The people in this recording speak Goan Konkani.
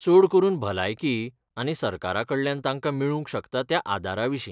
चड करून भलायकी आनी सरकाराकडल्यान तांकां मेळूंक शकता त्या आदाराविशीं.